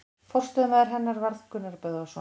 Forstöðumaður hennar varð Gunnar Böðvarsson.